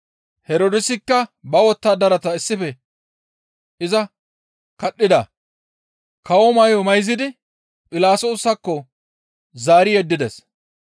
Herdoosikka ba wottadaratara issife iza kadhida; kawo may7o mayzidi Philaxoosakko zaari yeddides.